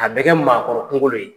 A bɛ kɛ maakɔrɔ kungo le ye.